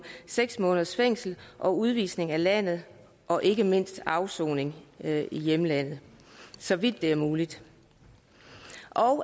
seks måneders fængsel og udvisning af landet og ikke mindst afsoning i hjemlandet så vidt det er muligt og